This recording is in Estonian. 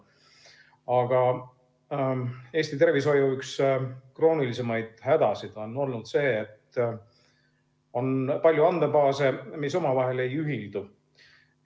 Aga üks Eesti tervishoiu kroonilisi hädasid on olnud see, et on palju andmebaase, mis omavahel ei ühildu.